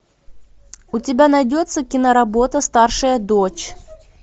у тебя найдется киноработа старшая дочь